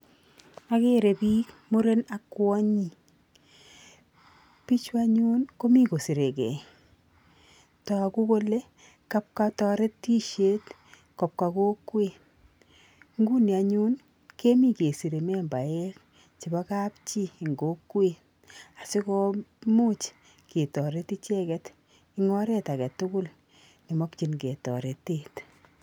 Akere piik muren ak kwonyik, pichu anyun komi kosirekei, toku kole kapka toretisiet kopka kokwet, nguni anyu kemi kesire membaek chebo kapchi eng kokwet asikomuch ketoret icheket eng oret age tugul ne makchinkei toretet.